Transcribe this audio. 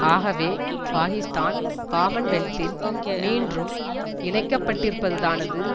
ஆகவே பாக்கிஸ்தான் காமன்வெல்த்தில் மீண்டும் இணைக்கப்பட்டிருப்பதானது